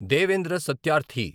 Devendra Satyarthi